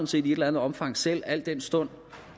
set i et eller andet omfang selv al den stund